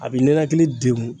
A bi ninakili degun.